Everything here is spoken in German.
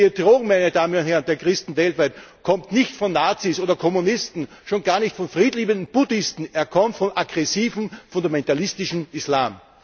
Die Bedrohung der Christen weltweit kommt nicht von Nazis oder Kommunisten, schon gar nicht von friedliebenden Buddhisten, sie kommt vom aggressiven fundamentalistischen Islam.